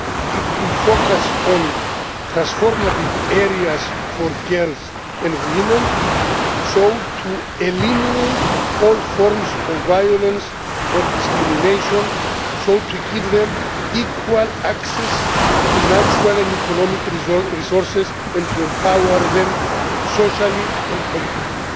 It will focus on transformative areas for girls and women, so as to eliminate all forms of violence or discrimination, to give them equal access to natural and economic resources and to empower them socially and politically.